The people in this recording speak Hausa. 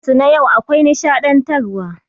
Shirin su na yau akwai nishaɗantar wa.